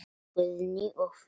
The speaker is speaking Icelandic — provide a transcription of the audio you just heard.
Guðný og Fríða.